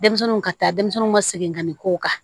Denmisɛnninw ka taa denmisɛnninw ka segin ka nin kow kan